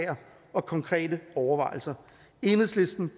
og konkrete overvejelser enhedslisten